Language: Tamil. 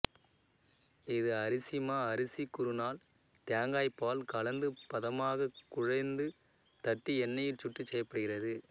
இது அரிசிமா அரிசிக்குறுநால் தேங்காய்ப்பால் கலந்து பதமாகக் குழைந்து தட்டி எண்ணெயில் சுட்டுச் செய்யப்படுகிறது